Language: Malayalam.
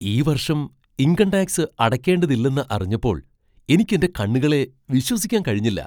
ഈ വർഷം ഇൻകം ടാക്സ് അടയ്ക്കേണ്ടതില്ലെന്ന് അറിഞ്ഞപ്പോൾ എനിക്ക് എന്റെ കണ്ണുകളെ വിശ്വസിക്കാൻ കഴിഞ്ഞില്ല!